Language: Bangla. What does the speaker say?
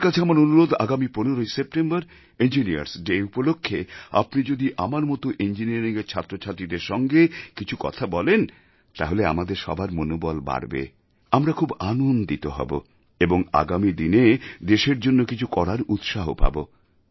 আপনার কাছে আমার অনুরোধ আগামী 15 সেপ্টেম্বর ইঞ্জিনিয়ার্স ডে উপলক্ষ্যে আপনি যদি আমার মত ইঞ্জিনিয়ারিংয়ের ছাত্রছাত্রীদের সঙ্গে কিছু কথা বলেন তাহলে আমাদের সবার মনোবল বাড়বে আমরা খুব আনন্দিত হব এবং আগামী দিনে দেশের জন্য কিছু করার উৎসাহ পাব